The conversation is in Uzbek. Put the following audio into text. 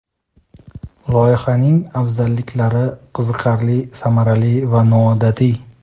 Loyihaning afzalliklari: qiziqarli, samarali va noodatiy.